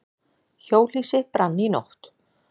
Hjólhýsi brann í nótt